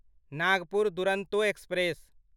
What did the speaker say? Nagpur Duronto express